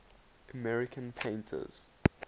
american painters